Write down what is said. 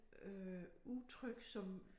Øh udtryk som